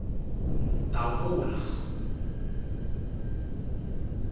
davula